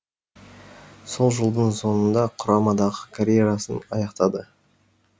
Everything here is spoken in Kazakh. сол жылдың соңында құрамадағы карьерасын аяқтады